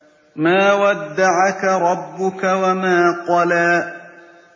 مَا وَدَّعَكَ رَبُّكَ وَمَا قَلَىٰ